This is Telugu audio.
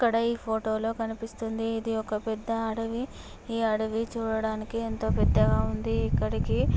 ఇక్కడ ఈ ఫొటోలో కనిపిస్తుంది. ఇది పెద్ద అడివి ఈ అడవి చూడటానికి ఎంతో పెద్దగా ఉంది ఇక్కడికి--